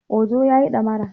Ojo ya yi damara